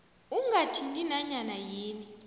ungathinti nanyana yini